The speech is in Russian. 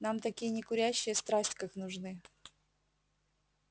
нам такие некурящие страсть как нужны